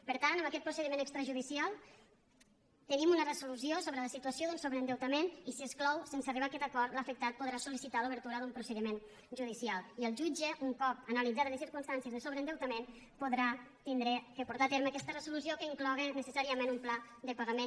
per tant amb aquest procediment extrajudicial tenim una resolució sobre la situació d’un sobreendeutament i si es clou sense arribar a aquest acord l’afectat podrà solun cop analitzades les circumstàncies de sobreendeutament podrà haurà de portar a terme aquesta resolució que incloga necessàriament un pla de pagament